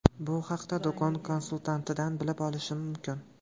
Bu haqda do‘kon konsultantidan bilib olish mumkin.